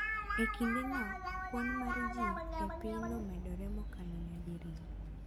e kindeno, kwan mar ji e piny ne omedore mokalo nyadi riyo.